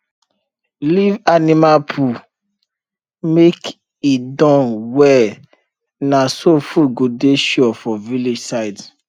leave animal poo make e Accepted well na so food go dey sure for village side